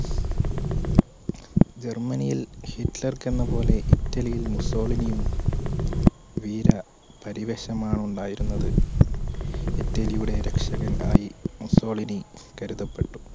ജർമനിയിൽ ഹിറ്റ്ലർക്കെന്ന പോലെ ഇറ്റലിയിൽ മുസ്സോളിനിയും വീര പരിവേഷമാണ് ഉണ്ടായിരുന്നത് ഇറ്റലിയുടെ രക്ഷകൻ ആയി മുസോളിനി കരുതപ്പെട്ടു